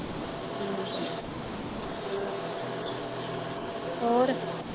ਹੋਰ?